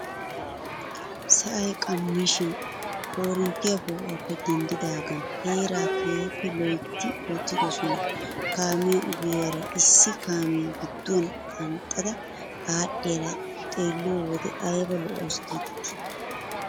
Sa'ay qammashin korinttiyaa po"uwaappe denddidagan heeraa keehippe loytti wottidosan kaamiyaa ogiyaara issi kaamiyaa gidduwaan qanxxada adhiyaara xeelliyoo wode ayba lo"awus gidetii!